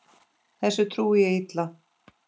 Þessu trúi ég illa.